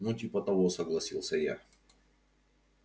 ну типа того согласилась я